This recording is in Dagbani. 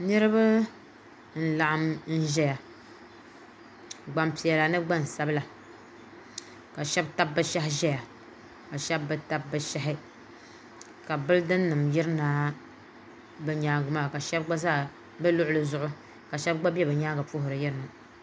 niriba n laɣim n ʒɛya gbapiɛlla ni gbasabila ka shɛbi tabi bi shɛhi ʒɛya ka shɛbi be tabi be shɛhi ka bilidinima yirina be nyɛŋa maa ka shɛbi gba za be luɣili zuɣ' ka shɛbi gba be be nyɛŋa puhiri yirina